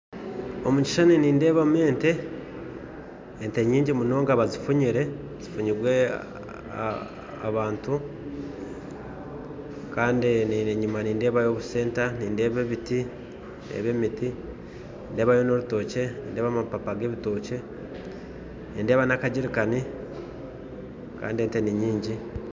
Omu kishushani nindeebamu ente ente nyingi munonga bazifunyire zifunyiibwe abantu Kandi enyima nindeebayo obusenta nindeeba ebiti eby'emiti nindeebayo n'orutookye nindeeba amapapa g'ebitokye nindeeba n'akagyerikaani kandi ente ni nyingi.